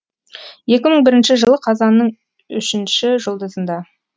екі мың бірінші жылы қазанның үшінші жұлдызында